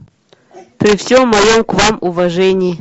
при всем моем к вам уважении